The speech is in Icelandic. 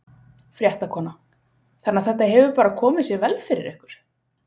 Fréttakona: Þannig að þetta hefur bara komið sér vel fyrir ykkur?